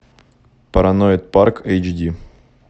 параноид парк эйч ди